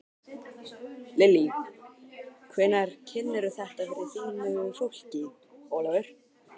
Lillý: Hvenær kynnirðu þetta fyrir þínu fólki, Ólafur?